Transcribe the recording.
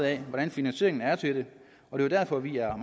af hvordan finansieringen er det er derfor vi er